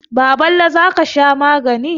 Baballe, za ka sha magani.